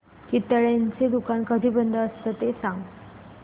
चितळेंचं दुकान कधी बंद असतं ते सांग